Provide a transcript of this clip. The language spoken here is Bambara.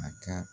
A ka